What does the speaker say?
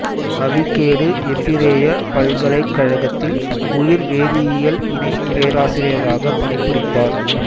அவிகேடு எபிரேய பல்கலைக்கழகத்தில் உயிர் வேதியியல் இணை பேராசிரியராக பணிபுரிந்தார்